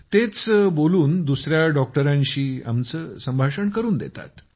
त्याच बोलून दुसर्या डॉक्टरांशी आमचं बोलणं करून देतात